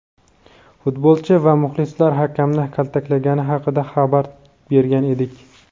futbolchi va muxlislar hakamni kaltaklagani haqida xabar bergan edik.